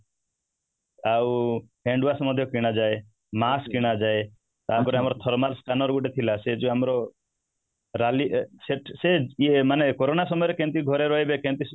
ଆଉ hand wash ମଧ୍ୟ କିଣା ଯାଏ mask କିଣା ଯାଏ ତାପରେ ଆମର thermal scanner ଗୋଟେ ଥିଲା ସେ ଯୋଉ ଆମର rally ସେ corona ସମୟରେ କେମିତି ଘରେ ରହିବେ କେମିତି